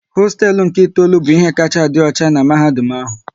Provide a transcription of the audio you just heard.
Hosteelu nke itoolu bụ ihe kacha a dị ọcha n'mahadum ahụ